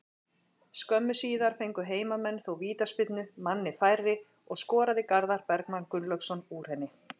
Skömmu síðar fengu heimamenn þó vítaspyrnu, manni færri, og skoraði Garðar Bergmann Gunnlaugsson úr henni.